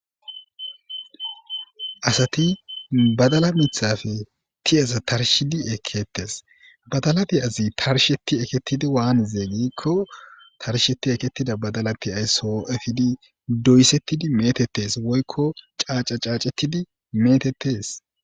Asati badala mithappe tiyaza tarishidi eketesi,badala tiyazi tarishet eketidi waanize giikoni tarisheti eketida badalati so efidi doysetidi metetesi, woyko caaca caacetidi metetesi.